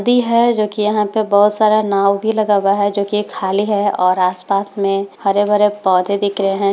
नदी है जो की यहाँ पे बहोत सारा नाव भी लगा हुआ है जो की ये खाली है और आस-पास में हरे-भरे पौधे दिख रहे है।